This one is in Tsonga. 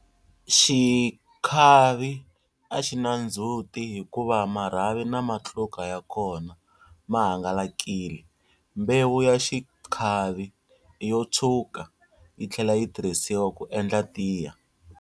Xikhavi a xi na ndzhuti hikuva marhavi na matluka ya kona ma hangalakile. Mbewu ya xikhavi i yo tshwuka, yi tlhela yi tirhisiwa ku endla tiya.